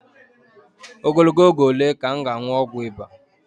Ogologo oge ole ka m ga-aṅụ ọgwụ ịba?